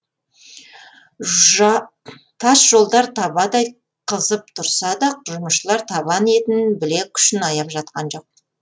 тас жолдар табадай қызып тұрса да жұмысшылар табан етін білек күшін аяп жатқан жоқ